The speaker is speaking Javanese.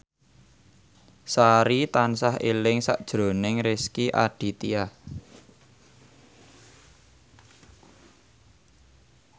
Sari tansah eling sakjroning Rezky Aditya